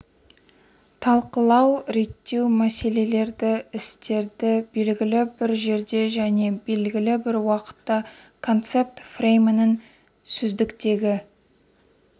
талқылау реттеу мәселелерді істерді белгілі бір жерде және белгілі бір уақытта концепт фреймінің сөздіктегі